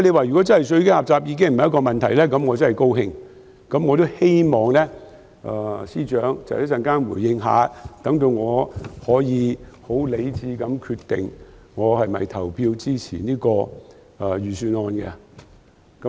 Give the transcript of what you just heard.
如果稅基狹窄已經不是問題，我很高興，我也希望司長稍後回應一下，好讓我可以很理智地決定我是否表決支持這份財政預算案。